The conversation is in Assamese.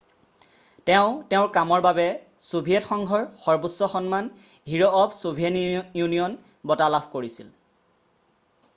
তেওঁ তেওঁৰ কামৰ বাবে ছোভিয়েট সংঘৰ সৰ্বোচ্চ সন্মান হিৰ' অফ ছোভিয়েট ইউনিয়ন' বঁটা লাভ কৰিছিল